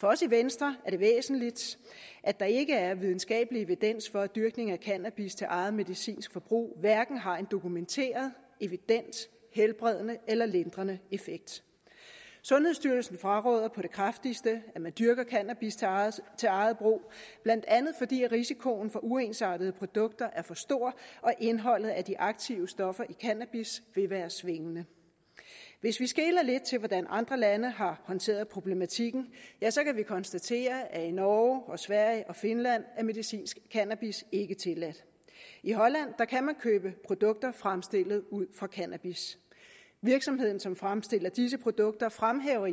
for os i venstre er det væsentligt at der ikke er videnskabelig evidens for at dyrkningen af cannabis til eget medicinsk forbrug har en dokumenteret helbredende eller lindrende effekt sundhedsstyrelsen fraråder på det kraftigste at man dyrker cannabis til eget til eget brug blandt andet fordi risikoen for uensartede produkter er for stor og indholdet af de aktive stoffer i cannabis vil være svingende hvis vi skeler lidt til hvordan andre lande har håndteret problematikken kan vi konstatere at i norge og sverige og finland er medicinsk cannabis ikke tilladt i holland kan man købe produkter fremstillet ud fra cannabis virksomheden som fremstiller disse produkter fremhæver i